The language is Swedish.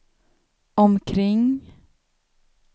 omkring